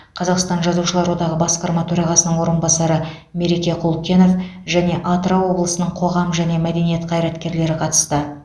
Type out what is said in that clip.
қазақстан жазушылар одағы басқарма төрағасының орынбасары мереке құлкенов және атырау облысының қоғам және мәдениет қайраткерлері қатысты